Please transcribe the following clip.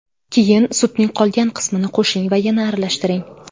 Keyin sutning qolgan qismini qo‘shing va yana aralashtiring.